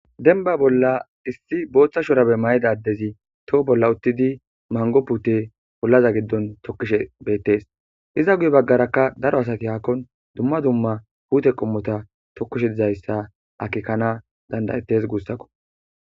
Denba bolla issi booththa shorabe mayidadezi toho bolla uttidi mango pute pollaza giddon tokkishe beettes iza guye baggarakka daro asaki haakkon dumma dumma huute qommota tokkishe dizayssa akikana dandayettes guussakko